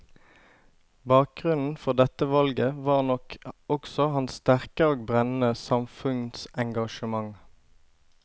Bakgrunnen for dette valget var nok også hans sterke og brennende samfunnsengasjement.